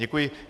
Děkuji.